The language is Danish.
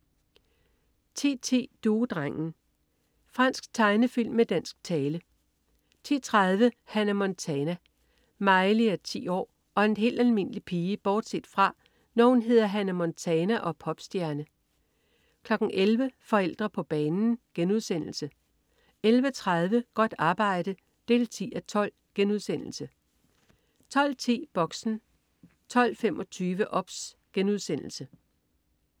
10.10 Duedrengen. Fransk tegnefilm med dansk tale 10.30 Hannah Montana. Miley er 14 år og en helt almindelig pige bortset fra, når hun hedder Hannah Montana og er popstjerne 11.00 Forældre på banen* 11.30 Godt arbejde 10:12* 12.10 Boxen 12.25 OBS*